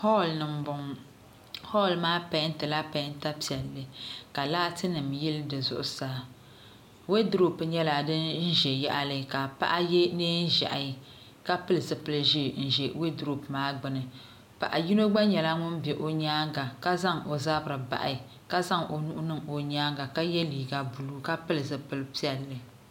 hɔɔli ni m-bɔŋɔ hɔɔli maa pɛɛntila pɛɛnta piɛlli ka laatinima yili di zuɣusaa weedurupu nyɛla din ʒe yaɣili ka paɣa ye neen'ʒiɛhi ka pili zupili ʒee n-ʒe weedurupu maa gbuni paɣ'yino gba nyɛla ŋun be o nyaanga ka zaŋ o zabiri bahi ka zaŋ o nuhi niŋ o nyaanga ka ye liiga buluu ka pili zupili piɛlli